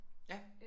Ja